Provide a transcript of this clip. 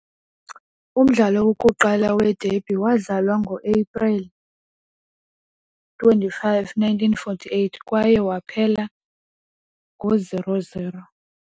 Umdlalo wokuqala wederby wadlalwa ngoAprili 25, 1948, kwaye waphela ngo-0 - 0.